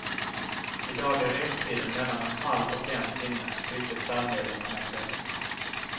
I dag är restiden mellan en halv och en timme vilket färdmedel man än väljer.